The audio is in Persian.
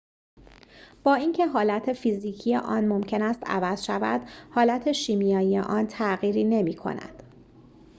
با اینکه حالت فیزیکی آن ممکن است عوض شود حالت شیمیایی آن تغییری نمی‌کند